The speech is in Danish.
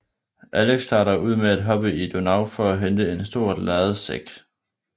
Alex starter ud med at hoppe i Donau for at hente en stor lærredssæk